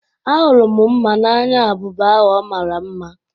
Ahụrụ m mma n'anya abụba ahu ọ mara mma.